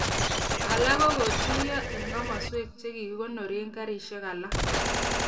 Alak kokotoi kotuiyo eng komoswek che kikonore garisiek ak alak.